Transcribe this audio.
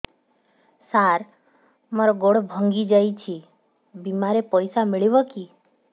ସାର ମର ଗୋଡ ଭଙ୍ଗି ଯାଇ ଛି ବିମାରେ ପଇସା ମିଳିବ କି